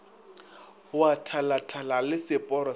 wa thalathala le seporo sa